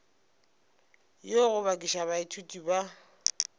go yo bakiša baithuti ba